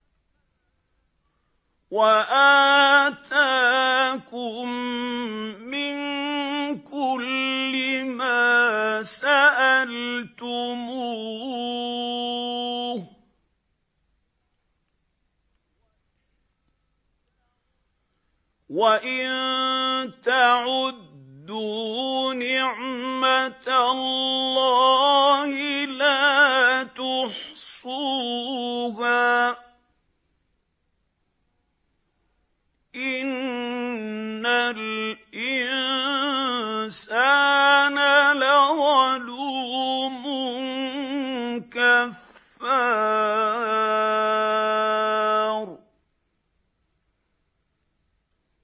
وَآتَاكُم مِّن كُلِّ مَا سَأَلْتُمُوهُ ۚ وَإِن تَعُدُّوا نِعْمَتَ اللَّهِ لَا تُحْصُوهَا ۗ إِنَّ الْإِنسَانَ لَظَلُومٌ كَفَّارٌ